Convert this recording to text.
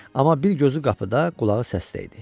Amma bir gözü qapıda, qulağı səsdə idi.